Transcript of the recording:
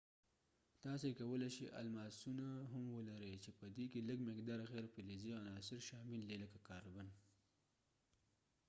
تاسي کولی شئ الماسونه هم ولرئ چې پدې کې لږ مقدار غیر فلزي عناصر شامل دي لکه کاربن